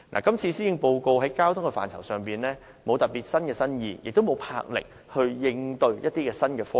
今次的施政報告在交通範疇上既無新意，亦無展示任何魄力應對新科技。